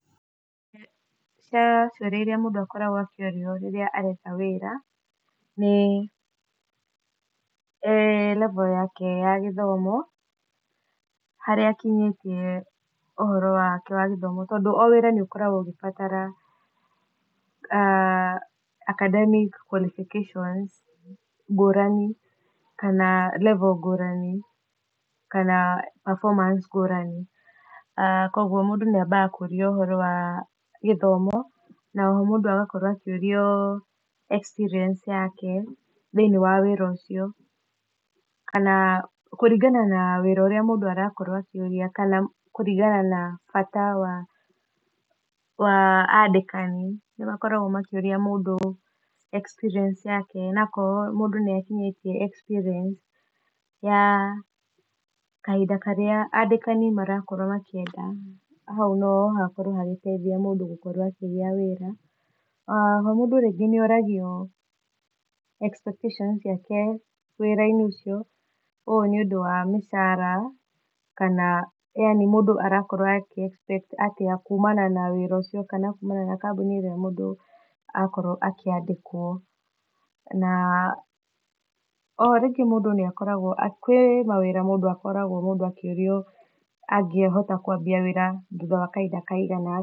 He ciũria iria mũndũ akoragwo akĩũrio rĩrĩa aretha wĩra ,nĩ level yake ya gĩthomo, harĩa akinyĩtie ũhoro wake wa gĩthomo, tondũ o wĩra nĩ ũkoragwo ũgĩbatara academic qualifications ngũrani, kana level ngũrani, kana perfomance ngũrani, kũgwo mũndũ nĩ ambaga kũrio ũhoro wa gĩthomo , na oho mũndũ agakorwo akĩũrio experience yake, thĩiniĩ wa wĩra ũcio, kana kũringana na wĩra ũrĩa mũndũ arakorwo akĩũria, kana kũringana na bata wa andĩkani, nĩmakoragwo makĩũria mũndũ experience yake, na akorwo mũndũ nĩ akinyĩtie experience ya kahinda karĩa andĩkani marakorwo makĩenda, hau no hateithie mũndũ gũkorwo akĩgĩa wĩra, ah oho mũndũ nĩ oragio expectations ciake wĩra-inĩ ũcio, ũũ nĩ ũndũ wa mũcara, kana yani mũndũ arakorwo akĩ expect kumana na wĩra ũcio, kana kumana na kambũni ĩrĩa mũndũ akorwo akĩandĩkwo, na o rĩngĩ mũndũ nĩ akoragwo, kwĩ mawĩra mũndũ akoragwo akĩũrio angĩhota kwambia wĩra thutha wa kahinda kaigana atĩa.